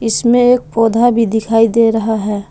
इसमें एक पौधा भी दिखाई दे रहा है।